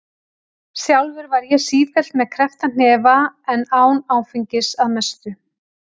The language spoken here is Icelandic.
Sjálfur var ég sífellt með kreppta hnefa en án áfengis- að mestu.